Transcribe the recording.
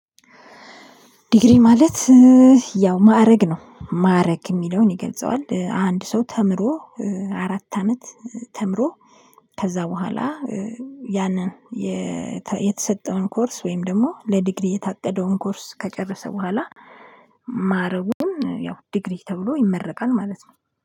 ዲግሪ ማለት ያው ማዕረግ ነው። ማዕረግ የሚለውን ይገልጸዋል፣ አንድ ሰው ተምሮ አራት አመት ተምሮ ከዛ በኋላ ያንን የተሰጠውን ኮርስ ወይም ደግሞ ለዲግሪ የታቀደውን ኮርስ ከጨረሰ በኋላ ማረጉን ያው ዲግሪ ተብሎ ይመረቃል ማለት ነው።